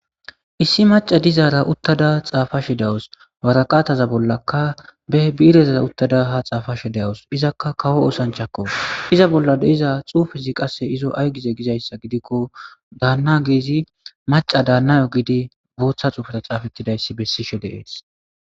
Issi maca dizaara uttada xaafashe dawus waraqaataza bollaka beh biirezaa uttada ha xaafashe deawus izakka kawo oosanchakko iza bolla deiza xuufizi qasse izo ay gize gizayssa gidikko daanna geezi maca daannayo giidi booththa xuufara xaafettidayssi bessishe deees